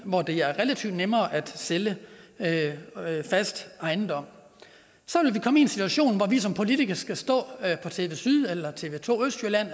hvor det er relativt nemmere at sælge fast ejendom så ville vi komme i en situation hvor vi som politikere skulle stå på tv syd eller tv to østjylland